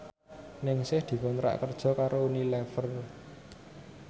Ningsih dikontrak kerja karo Unilever